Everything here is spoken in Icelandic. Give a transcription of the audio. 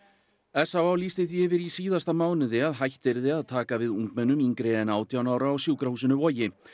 s á á lýsti því yfir í síðasta mánuði að hætt yrði að taka við ungmennum yngri en átján ára á sjúkrahúsinu Vogi